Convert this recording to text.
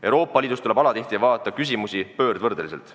Euroopa Liidus tuleb alatihti vaadata küsimusi pöördvõrdeliselt.